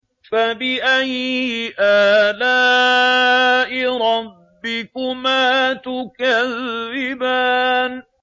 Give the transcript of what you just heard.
فَبِأَيِّ آلَاءِ رَبِّكُمَا تُكَذِّبَانِ